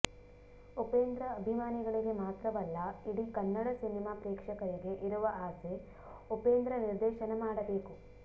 ಉಪೇಂದ್ರ ಅಭಿಮಾನಿಗಳಿಗೆ ಮಾತ್ರವಲ್ಲ ಇಡೀ ಕನ್ನಡ ಸಿನಿಮಾ ಪ್ರೇಕ್ಷಕರಿಗೆ ಇರುವ ಆಸೆ ಉಪೇಂದ್ರ ನಿರ್ದೇಶನ ಮಾಡಬೇಕು